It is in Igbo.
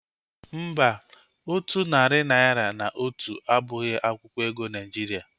Mba, otu narị naira na otu abụghị akwụkwọ ego Naijiria